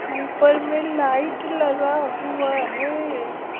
ऊपर में लाइट लगा हुआ है।